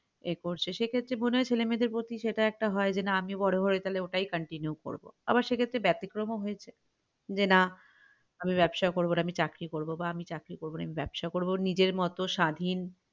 এ করছে সেক্ষেত্রে মনে হয় ছেলে মেয়েদের প্রতি সেটা একটা হয় যে না আমি বড়ো হয়ে তালে ওটাই continue করব আবার সেক্ষেত্রে বেতিক্রম ও হয়েছে যে না আমি ব্যাবসা করবো না আমি চাকরি করবো বা আমি চাকরি করবনা আমি ব্যাবসা করবো নিজের মত স্বাধীন